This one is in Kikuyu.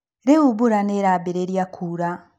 Rĩu mbura nĩ ĩrambĩrĩria kuura.